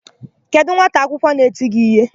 Kedụ nwata akwụkwọ na-eti gị íhé?